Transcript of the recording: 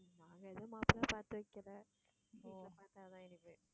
நாங்க எதுவும் மாப்பிள்ளை பாத்து வைக்கல. வீட்டுல பாத்தா தான் எனக்கு.